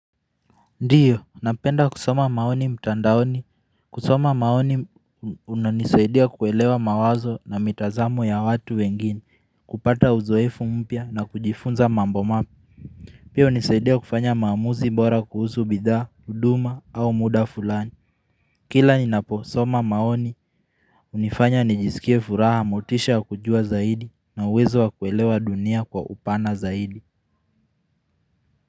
Ndiyo, napenda kusoma maoni mtandaoni. Kusoma maoni unanisaidia kuelewa mawazo na mitazamo ya watu wengine. Kupata uzoefu mpya na kujifunza mambo mapya Pia hunisaidia kufanya maamuzi bora kuhusu bidhaa, huduma au muda fulani. Kila ninaposoma maoni hunifanya nijisikie furaha motisha kujua zaidi na uwezo wa kuelewa dunia kwa upana zaidi.